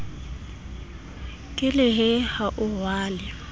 ke lehe ha o rwale